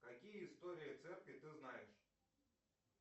какие истории церкви ты знаешь